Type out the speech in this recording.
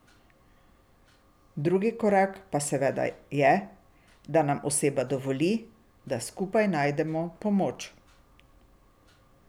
Drugi korak pa seveda je, da nam oseba dovoli, da skupaj najdemo pomoč.